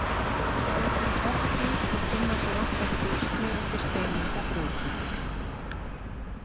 Þær eru og botndýr og finna sér oftast fylgsni undir steinum og grjóti.